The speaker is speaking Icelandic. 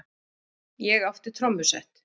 Ég átti trommusett.